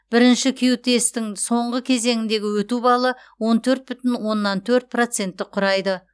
бірінші кю тесттің соңғы кезеңіндегі өту балы он төрт бүтін оннан төрт процентті құрайды